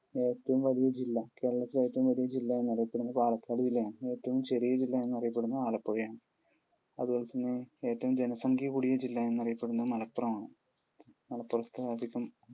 ഏറ്റവും വലിയ ജില്ല? കേരളത്തിൽ ഏറ്റവും വലിയ ജില്ല എന്നറിയപ്പെടുന്നത് പാലക്കാട് ജില്ല ആണ്. ഏറ്റവും ചെറിയ ജില്ല എന്നറിയപ്പെടുന്നത് ആലപ്പുഴയാണ്. അതുപോലെതന്നെ ഏറ്റവും ജനസംഖ്യ കൂടിയ ജില്ല എന്നറിയപ്പെടുന്നത് മലപ്പുറം ആണ്. മലപ്പുറത്തു അധികം